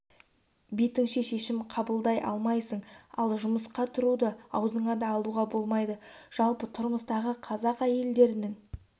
бетіңше шешім қабылдай алмайсың ал жұмысқа тұруды аузыңа да алуға болмайды жалпы тұрмыстағы қазақ әйелдерінің